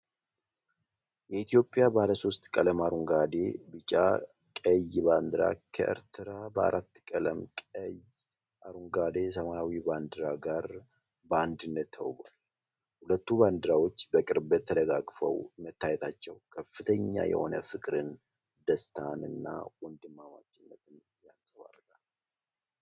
የኢትዮጵያ ባለሶስት ቀለም (አረንጓዴ፣ ቢጫ፣ ቀይ) ባንዲራ ከኤርትራ ባለአራት ቀለም (ቀይ፣ አረንጓዴ፣ ሰማያዊ) ባንዲራ ጋር በአንድነት ተውበዋል። ሁለቱ ባንዲራዎች በቅርበት ተደጋግፈው መታየታቸው ከፍተኛ የሆነ ፍቅርን፣ ደስታን እና ወንድማማችነትን ያንጸባርቃል።